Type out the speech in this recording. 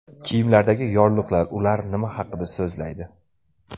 Kiyimlardagi yorliqlar: ular nima haqida so‘zlaydi?.